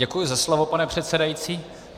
Děkuji za slovo, pane předsedající.